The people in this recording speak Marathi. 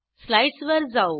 स्लाईडस वर जाऊ